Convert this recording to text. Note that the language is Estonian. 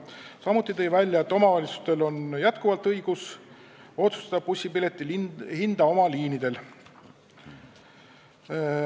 Erki Savisaar tõi ka välja, et omavalitsustel on jätkuvalt õigus otsustada bussipileti hinna üle oma liinidel.